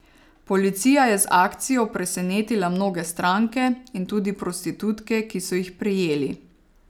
Policija je z akcijo presenetila mnoge stranke in tudi prostitutke, ki so jih prijeli.